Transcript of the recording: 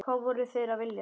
Hvað voru þeir að vilja?